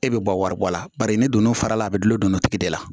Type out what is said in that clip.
E bɛ bɔ waribɔla bari ne donna fara a bɛ gulon don nɔtigi de la